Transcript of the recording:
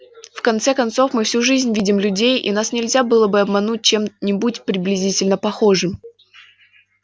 в конце концов мы всю жизнь видим людей и нас нельзя было бы обмануть чем-нибудь приблизительно похожим